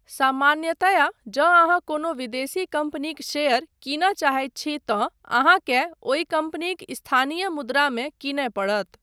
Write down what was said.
सामान्यतया, जँ अहाँ कोनो विदेशी कम्पनीक शेयर कीनय चाहैत छी, तँ अहाँकेँ ओहि कम्पनीक स्थानीय मुद्रामे कीनय पड़त।